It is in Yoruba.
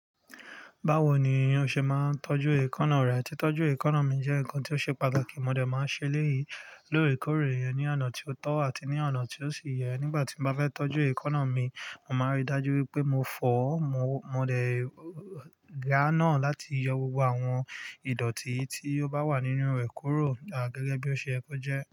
Báwo ni ó ṣe máa ń tọ́jú èékánná rẹ? Titọju èékánná mi jẹ nkan ti o ṣe pàtàkì. Mo dẹ̀ máa ń ṣe léyìí: lóòrèkóòrè iyennní ọ̀nà tí o tọ́ àti ní ọ̀nà tí ó sì yẹ. Nígbàtí mo bá fẹ tọjú èékánná mi, mo máa n rídájú pé mo fọ̀ ọ, mo dẹ̀ ga náà láti yọ gbogbo àwọn ìdọ̀tí tí ó bá wà nínú rẹ̀ kúrò, à gẹ́gẹ́ bí o ṣe ye kọ jẹ.